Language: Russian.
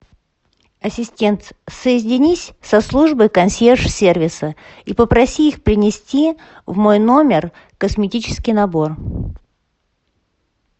ассистент соединись со службой консьерж сервиса и попроси их принести в мой номер косметический набор